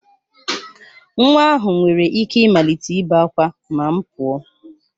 Nwa ahụ nwere ike ịmalite ibe ákwá ma m pụọ